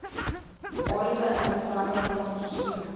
ольга александровна стихина